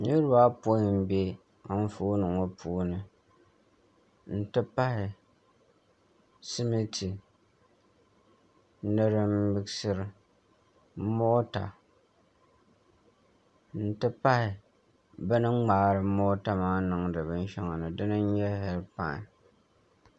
Nirba ayopɔin m-be anfooni ŋɔ puuni n-ti pahi simiti ni din miɣisiri mota n-ti pahi bɛ ni ŋmaari mota maa niŋdi bin shɛli ni di ni n-nyɛ heedipain